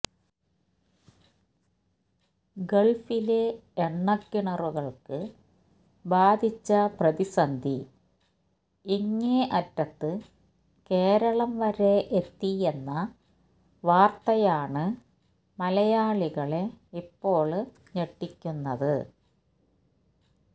ഗള്ഫിലെ എണ്ണക്കിണറുകള്ക്ക് ബാധിച്ച പ്രതിസന്ധി ഇങ്ങേ അറ്റത്ത് കേരളം വരെ എത്തിയെന്ന വാര്ത്തയാണ് മലയാളികളെ ഇപ്പോള് ഞെട്ടിക്കുന്നത്